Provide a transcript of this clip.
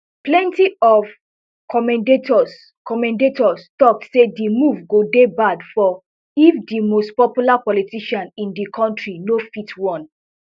plenty of commentators commentators tok say di move go dey bad for if di most popular politician in di kontri no fit run